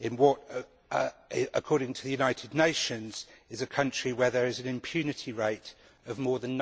in what, according to the United Nations, is a country with an impunity rate of more than